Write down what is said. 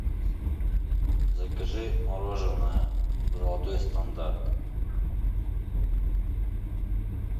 закажи мороженое золотой стандарт